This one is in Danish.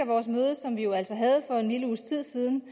vores møde som vi jo altså havde for en lille uges tid siden